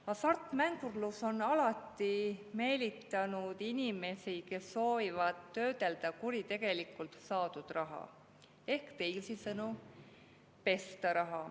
Hasartmängurlus on alati meelitanud inimesi, kes soovivad töödelda kuritegelikult saadud raha ehk teisisõnu raha pesta.